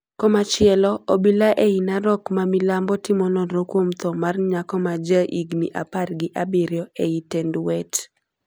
Komachielo, obila ei Narok ma milambo timo nonro kuom thoo mar nyako ma ja higni apar gi abirio ei Tendwet.